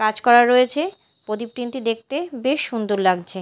কাজ করা রয়েছে প্রদীপ তিনটি দেখতে বেশ সুন্দর লাগজে।